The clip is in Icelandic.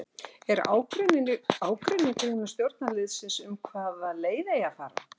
Er ágreiningur innan stjórnarliðsins um það hvaða leið eigi að fara?